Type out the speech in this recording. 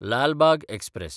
Lal Bagh express